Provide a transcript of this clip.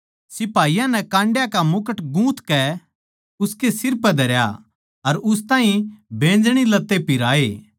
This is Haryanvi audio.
सिपाहियाँ नै काण्डयाँ का मुकुट गूँथकै उसकै सिर पै धरया अर उस ताहीं बैंजनी लत्ते पिहराये